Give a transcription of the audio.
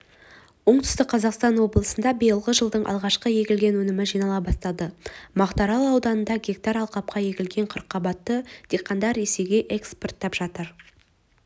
оңтүстік қазақстан облысында биылғы жылдың алғашқы егілген өнімі жинала бастады мақтаарал ауданында гектар алқапқа егілген қырыққабатты диқандар ресейге экспорттап жатыр